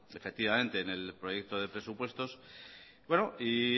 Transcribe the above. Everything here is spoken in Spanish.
efectivamente en el proyecto de presupuestos y